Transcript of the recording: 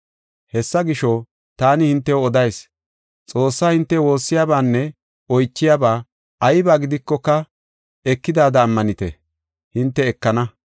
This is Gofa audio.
Hessa gisho, taani hintew odayis; Xoossaa hinte woossiyabanne oychiyaba ayba gidikoka ekidaada ammanite, hinte ekana.